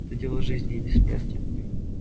это дело жизни или смерти